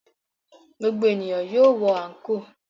Gbogbo ènìyàn yóò wọ àńkò.